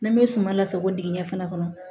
Ni n bɛ suman lasago dingɛn fana kɔnɔ